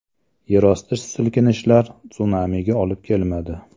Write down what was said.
Yerosti silkinishlari sunamiga olib kelmadi.